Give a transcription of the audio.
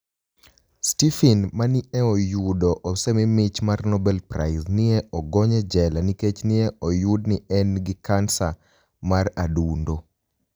Stepheni ma ni e oyudo osemi mich mar nobel Prize ni e ogoniy e jela niikech ni e oyud nii eni gi kaniSaa mar adunido.